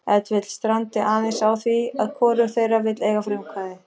Ef til vill strandi aðeins á því að hvorug þeirra vill eiga frumkvæðið.